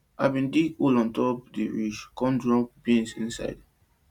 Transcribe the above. i bin dig hole on top di ridge con drop bean seed inside